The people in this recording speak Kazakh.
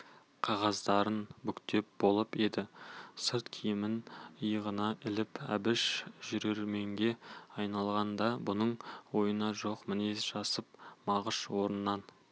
қағаздарын бүктеп болып енді сырт киімін иығына іліп әбіш жүрерменге айналғанда бұның ойында жоқ мінез жасап мағыш орнынан